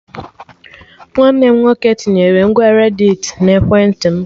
Nwanne m nwoke tinyere ngwa redditi na ekwentị m